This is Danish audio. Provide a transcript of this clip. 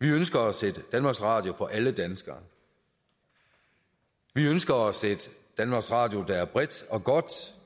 vi ønsker os et danmarks radio for alle danskere vi ønsker os et danmarks radio der er bredt og godt